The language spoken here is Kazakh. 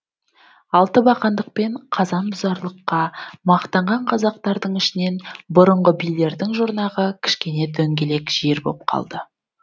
алты бақандық пен қазан бұзарлыққа мақтанған қазақтардың ішінен бұрынғы билердің жұрнағы кішкене дөңгелек жер боп қалды